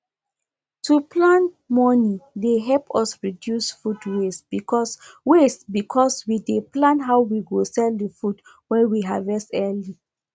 to plan moni dey help us reduce food waste because waste because we dey plan how we go sell the food wey we harvest early